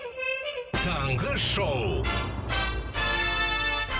таңғы шоу